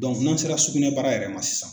n'an sera sugunɛbara yɛrɛ ma sisan.